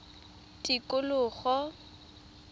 tikologo